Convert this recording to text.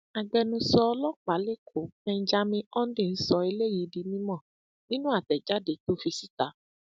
agbẹnusọ ọlọpàá lẹkọọ benjamin hondnyin sọ eléyìí di mímọ nínú àtẹjáde tó tó fi síta